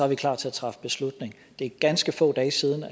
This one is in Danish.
vi klar til at træffe beslutning det er ganske få dage siden